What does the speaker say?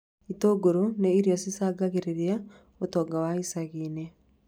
Itũngũrũ nĩ irio cicangagĩra ũtonga wa icagi-inĩ